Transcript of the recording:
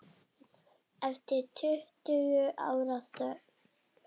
Eftir tuttugu ára þögn